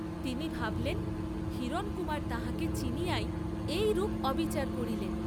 তিনি ভাবলেন হিরণকুমার তাঁহাকে চিনিয়াই এইরূপ অবিচার করিলেন।